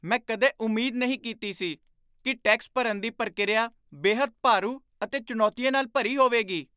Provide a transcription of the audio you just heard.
ਮੈਂ ਕਦੇ ਉਮੀਦ ਨਹੀਂ ਕੀਤੀ ਸੀ ਕਿ ਟੈਕਸ ਭਰਨ ਦੀ ਪ੍ਰਕਿਰਿਆ ਬੇਹੱਦ ਭਾਰੂ ਅਤੇ ਚੁਣੌਤੀਆਂ ਨਾਲ ਭਰੀ ਹੋਵੇਗੀ।